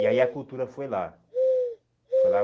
E aí a cultura foi lá. Foi lá